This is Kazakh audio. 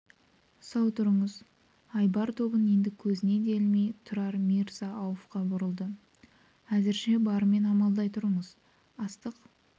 сау тұрыңыз айбар тобын енді көзіне де ілмей тұрар мирза-ауфқа бұрылды әзірше барымен амалдай тұрыңыз астық